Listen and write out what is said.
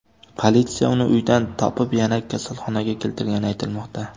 Politsiya uni uydan topib, yana kasalxonaga keltirgani aytilmoqda.